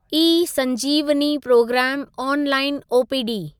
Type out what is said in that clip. ई संजीवनी प्रोग्रामु online OPD